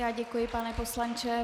Já děkuji, pane poslanče.